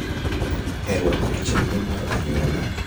e rwako chenro mar anyuola,